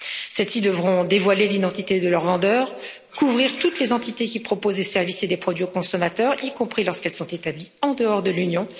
Celles ci devront dévoiler l'identité de leurs vendeurs, couvrir toutes les entités qui proposent des services et des produits aux consommateurs, y compris lorsqu'elles sont établies en dehors de l'Union.